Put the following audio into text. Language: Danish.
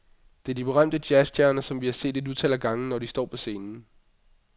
Det er de berømte jazzstjerner, som vi har set et utal af gange, når de står på scenen.